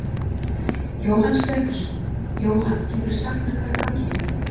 Jóhann Stefánsson: Jóhann, geturðu sagt mér hvað er í gangi hérna?